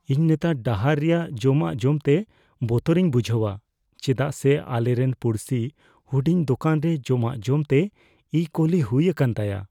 ᱤᱧ ᱱᱮᱛᱟᱨ ᱰᱟᱦᱟᱨ ᱨᱮᱭᱟᱜ ᱡᱚᱢᱟᱜ ᱡᱚᱢᱛᱮ ᱵᱚᱛᱚᱨᱤᱧ ᱵᱩᱡᱷᱟᱹᱣᱟ ᱪᱮᱫᱟᱜ ᱥᱮ ᱟᱞᱮᱨᱮᱱ ᱯᱩᱲᱥᱤ ᱦᱩᱰᱤᱧ ᱫᱳᱠᱟᱱ ᱨᱮ ᱡᱚᱢᱟᱜ ᱡᱚᱢᱛᱮ ᱤᱼᱠᱳᱞᱤ ᱦᱩᱭ ᱟᱠᱟᱱ ᱛᱟᱭᱟ ᱾